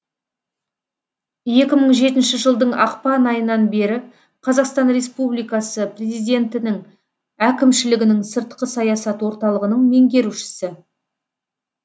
екі мың жетінші жылдың ақпан айынан бері қазақстан республикасы президентінің әкімшілігінің сыртқы саясат орталығының меңгерушісі